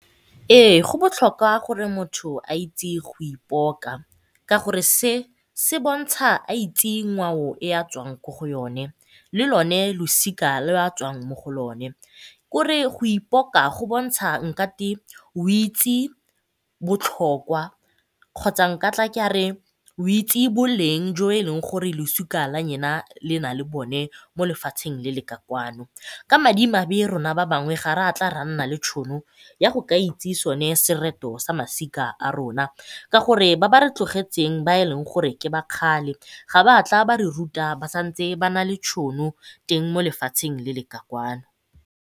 Ee, go botlhokwa gore motho a itse go ipoka ka gore se se bontsha a itse ngwao e a tswang ko go yone, le lone losika leo a tswang mo go lone. Kore go ipoka go bontsha o itse botlhokwa kgotsa nkatla ke a re o itse boleng jo e leng gore losika la le na le bone mo lefatsheng le le kwa kano. Ka madimabe rona ba bangwe ga ra tla ra nna le tšhono ya go ka itse sone sereto sa masika a rona ka gore ba ba re tlogetseng ba e leng gore ke ba kgale ga ba tla ba re ruta ba sa ntse ba na le tšhono teng mo lefatsheng le le kwa kano.